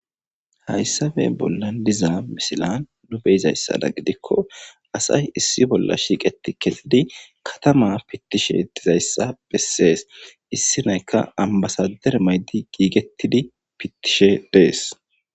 hayssabe bollan diza misilan nu beizayssada gidikko asay issi bolla shiiqeti kedidi katama pittishe dizayssa bessees issi naykka ambasadere maydi giigettidi pittishe dees